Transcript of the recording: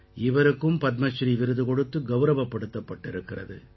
இவருக்கும் பத்மஸ்ரீ விருது கொடுத்து கௌரவப்படுத்தப்பட்டிருக்கிறது